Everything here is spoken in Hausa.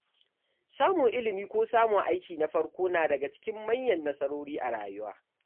Samun ilimi ko samun aiki na farko na daga cikin manyan nasarori a rayuwa.